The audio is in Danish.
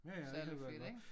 Ja ja der virkelig gør det godt